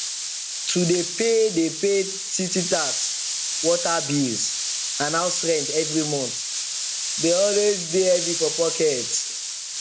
to dey pay dey pay city tax water bill and house rent every month d always dey heavy for pocket